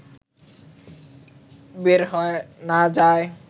বের হয়ে না যায়